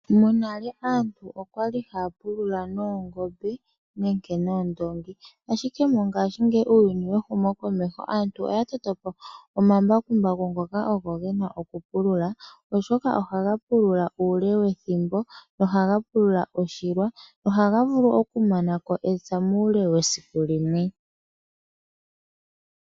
Monale aantu okwali haya pulula noongombe nenge noondongi, ashike mongashingeyi uuyuni wehumokomeho, aantu oya toto po omambakumbaku ngoka ogo gena okupulula. Oshoka ohaga pulula uule wethimbo, no haga pulula oshilwa. Ohaga vulu okumana ko epya muule wesiku limwe.